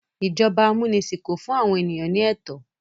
Ijọba amunisin kò fún àwọn ènìyàn ní ètò